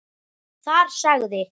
Þar sagði